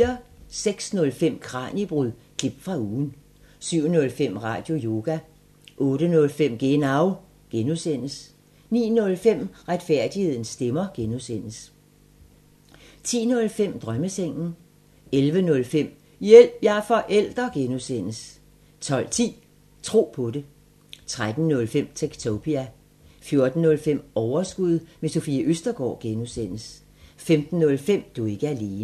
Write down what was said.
06:05: Kraniebrud – klip fra ugen 07:05: Radioyoga 08:05: Genau (G) 09:05: Retfærdighedens stemmer (G) 10:05: Drømmesengen 11:05: Hjælp – jeg er forælder (G) 12:10: Tro på det 13:05: Techtopia 14:05: Overskud – med Sofie Østergaard (G) 15:05: Du er ikke alene